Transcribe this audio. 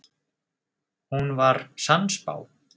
Hún var sannspá.